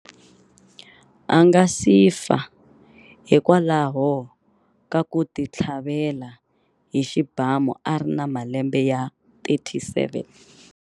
A nga si fa hikwalaho ka ku titlhavela hi xibamu a ri na malembe ya 37.